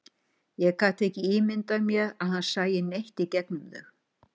Ég gat ekki ímyndað mér að hann sæi neitt í gegnum þau.